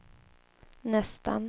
nästan